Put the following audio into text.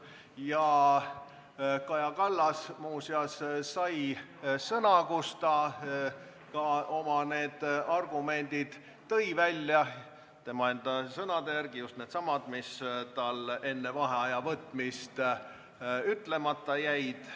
Muuseas, Kaja Kallas sai sõna ja ta tõi ka oma argumendid välja – tema enda sõnade järgi just needsamad, mis tal enne vaheaja võtmist ütlemata jäid.